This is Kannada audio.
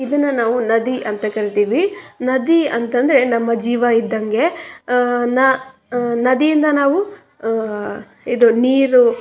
ಪಡಕೋಳ್ಳಬಹುದು ಅ ಹಲವಾರುಕಡೆ ನೀರನ್ನ ಅಹ್ ಪೂರೈಕೆ ಮಾಡಬಹುದು. ನದಿಗಳಿಂದ ನಾವು--